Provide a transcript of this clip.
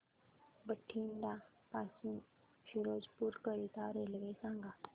बठिंडा पासून फिरोजपुर करीता रेल्वे सांगा